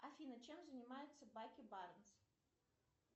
афина чем занимается баки барнс